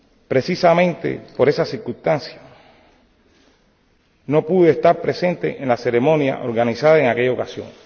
Precisamente por esa circunstancia, no pude estar presente en la ceremonia organizada en aquella ocasión.